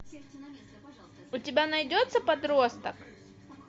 у тебя найдется подросток